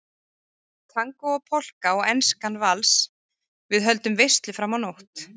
Tangó og Polka og Enskan vals, við höldum veislu fram á nótt